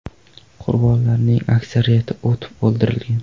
Qurbonlarning aksariyati otib o‘ldirilgan.